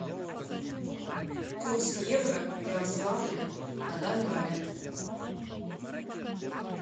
курс евро в ярославле на данный момент